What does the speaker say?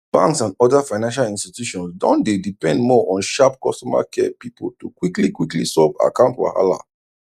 banks and other financial institutions don dey depend more on sharp customer care people to quickly quickly solve account wahala